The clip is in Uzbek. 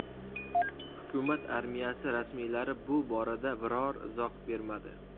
Hukumat armiyasi rasmiylari bu borada biror izoh bermadi.